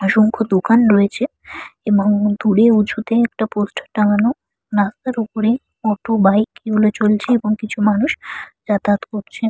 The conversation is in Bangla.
অসংখ্য দোকান রয়েছে এবং দূরে উঁচুতে পোস্টার টাঙানো। রাস্তার উপরে অটো বাইক এগুলো চলছে এবং কিছু মানুষ যাতায়াত করছেন।